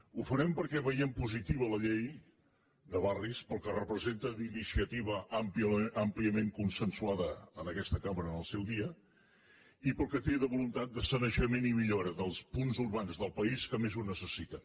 ho farem perquè veiem positiva la llei de barris pel que repre·senta d’iniciativa àmpliament consensuada en aquesta cambra en el seu dia i pel que té de voluntat de sane·jament i millora dels punts urbans del país que més ho necessiten